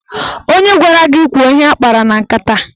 Onye gwara gị kwuo ihe anyị kpara na nkata?